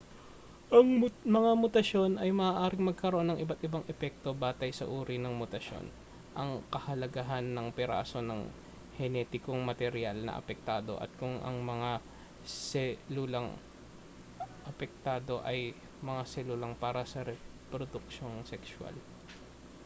ang mga mutasyon ay maaaring magkaroon ng iba't-ibang epekto batay sa uri ng mutasyon ang kahalagahan ng piraso ng henetikong materyal na apektado at kung ang mga selulang apektado ay mga selulang para sa reproduksiyong sekswal